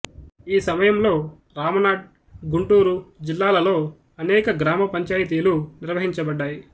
ఈ సమయంలో రామనాడ్ గుంటూరు జిల్లాలలో అనేక గ్రామ పంచాయితీలు నిర్వహించబడ్డాయి